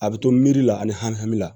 A bɛ to miiri la ani hami la